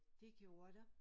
Det gjorde der